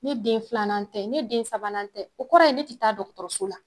Ne den filanan tɛ ne den sabanan tɛ o kɔrɔ ye ne ti taa dɔgɔtɔrɔso la